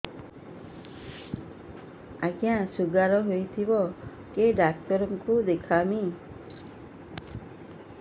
ଆଜ୍ଞା ଶୁଗାର ହେଇଥିବ କେ ଡାକ୍ତର କୁ ଦେଖାମି